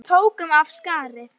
Við tókum af skarið.